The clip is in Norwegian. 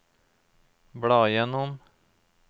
bla gjennom